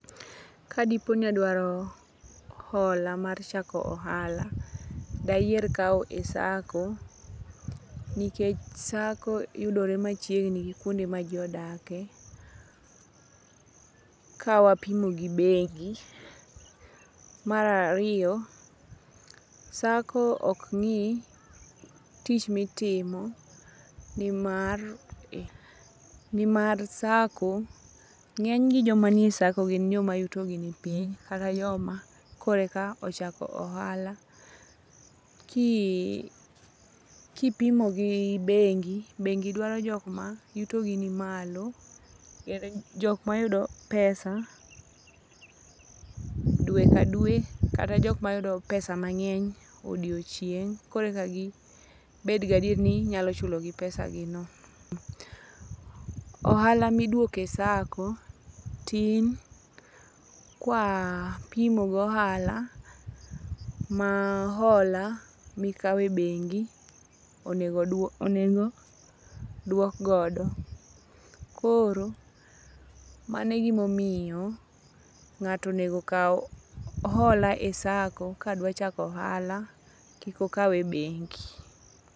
Kadipo ni adwaro hola mar chako ahala, dayier kawo e sacco, nikech Sacco yudore machiegni gi kuonde maji odake kawapimo gi bengi, marariyo Sacco ok ngi' tich ma itimo ni mar ni mar Sacco nge'ny ji manie Sacco gin joma yutogi ni piny kata joma kore ka ochako ohala kipimo gi bengi, bengi dwaro jok ma yutogi nimalo, jok mayudo pesa dwe ka dwe kata jok ma yudo pesa mange'ny e odiyochieng', kore ka gibed gi adieri ni inyalo chulopesagino. Ohala ma idwoke Sacco tin ka kwapimo gohala ma hola mikawe bengi onego dwok godo, koro manegimomiyo nga'to onego kau hola e Sacco ka dwachako ohala kikokawe e bengi